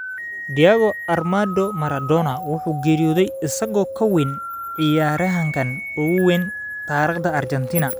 Diego Armando Maradona wuxuu geeriyooday isagoo ka weyn ciyaaryahanka ugu weyn taariikhda Argentina.